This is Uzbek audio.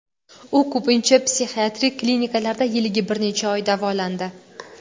U ko‘pincha psixiatrik klinikalarda yiliga bir necha oy davolandi.